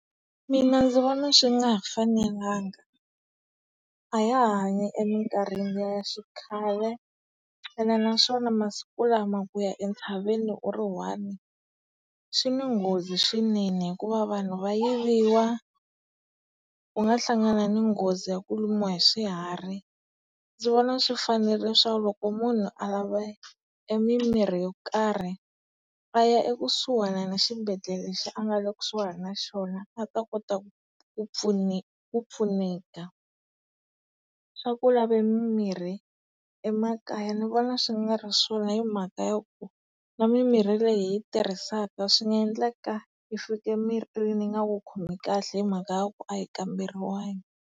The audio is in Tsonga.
Mina ndzi vona swi nga ha fanelanga. A ha ha hanyi emikarhini ya xikhale, ene naswona masiku lama kuya entshaveni u ri one swi ni nghozi swinene hikuva vanhu va yiviwa, u nga hlangana ni nghozi ya ku lumiwa hi swiharhi. Ndzi vona swi fanerile swaku loko munhu a lava e mimirhi yo karhi, a ya ekusuhana na xibedhlele lexi a nga le kusuhana na xona a ta kota ku ku pfuneka. Swa ku lava mimirhi emakaya ni vona swi nga ri swona hi mhaka yaku, na mimirhi leyi hi yi tirhisaka swi nga endleka yi fika emirini yi nga ku khomi kahle hi mhaka yaku a yi kamberiwangi.